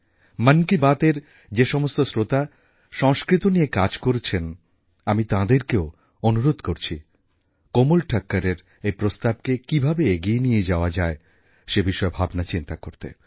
মন কি বাতএর যে সমস্ত শ্রোতা সংস্কৃত নিয়ে কাজ করছেন আমি তাঁদেরকেও অনুরোধ করছি কোমল ঠাক্করএর এই প্রস্তাবকে কীভাবে এগিয়ে নিয়ে যাওয়া যায় সেই বিষয়ে ভাবনাচিন্তা করতে